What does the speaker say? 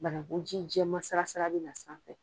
Banakun ji jɛman salasala be na sanfɛ.